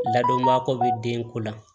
Ladonbako bɛ den ko la